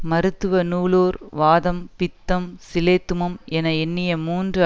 மருத்துவ நூலோர் வாதம் பித்தம் சிலேத்துமம் என எண்ணிய மூன்று